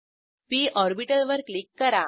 P orbital वर click करा